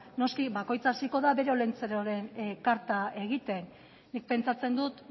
noski bakoitza hasiko da bere olentzeroren karta egiten nik pentsatzen dut